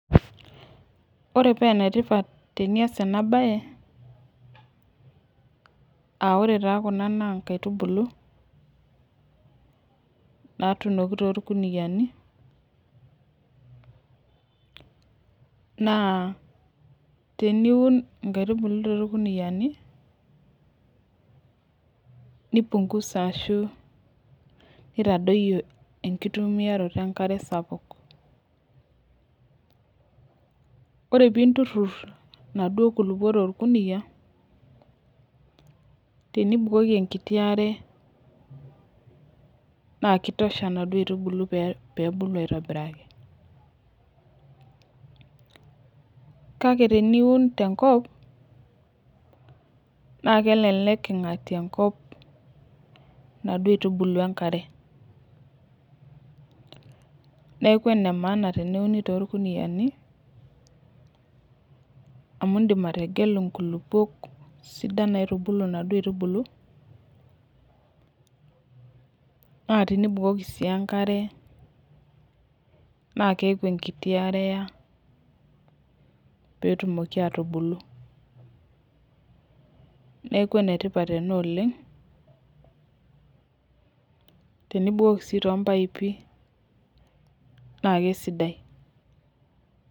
Ore paa enetipat tenias ena mbae aa ore Kuna naa nkaitubulu natunoki too irkuniani naa teniun nkaitubulu too irkuniani nipunhuza ashu naitadoyio enkitumiaroto enkare sapuk ore pii nturur naaduo kulupuok too torkunia ore pee ebukoki enaduo are naa kitosha naaduo aitubulu pee ebulu aitobiraki kake teniun tenkop naa kelelek eingatie enkop naaduo aitubulu enkare neeku ene maana teneuni too irkuniani amu edim ategelu nkulupuok sidan naitubulu naaduo aitubulu naa tenibukoki sii enkare naa keeku enkiti are eya petumoki aa tubulu neeku enetipat ena oleng tenibukoki sii too mbaipi naa kisidai